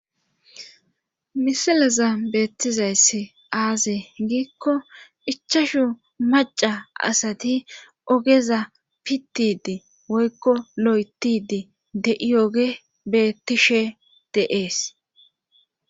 Misilaza beettizayssi aaze giikko ichashu maca asati ogeza pittidi woykko lo7etidi de7iyoge bettishe deees